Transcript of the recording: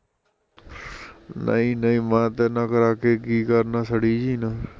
ਨਈ ਨਈ ਮੈਂ ਤੇਰੇ ਨਾਲ਼ ਕਰਾ ਕੇ ਕੀ ਕਰਨਾ ਸੜਈ ਜਹੀ ਨਾਲ਼